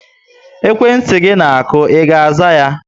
Ekwentị gị na aku, I ga aza yá?